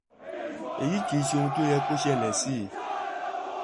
èyí kì í ṣe ohun tó yẹ kó ṣẹlẹ̀ sí i